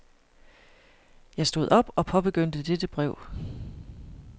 Jeg stod op og påbegyndte dette brev.